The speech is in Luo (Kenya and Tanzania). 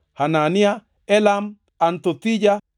Hanania, Elam, Anthothija,